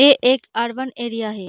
ये एक urban area है।